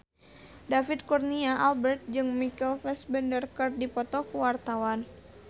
David Kurnia Albert jeung Michael Fassbender keur dipoto ku wartawan